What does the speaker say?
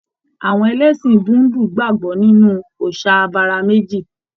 Àwọn ẹlẹṣin Búudú gbagbọ nínú òòsà abara meji.